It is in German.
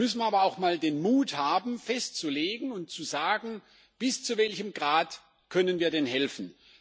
Da müssen wir aber auch mal den Mut haben festzulegen und zu sagen Bis zu welchem Grad können wir denn helfen?